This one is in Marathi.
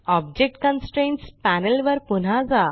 ऑब्जेक्ट कन्स्ट्रेंट्स पॅनेल वर पुन्हा जा